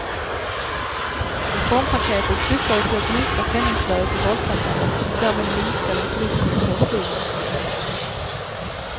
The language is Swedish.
Reformpaketet syftade till att minska penningflödet i valkampanjerna och därmed minska den politiska korruptionen.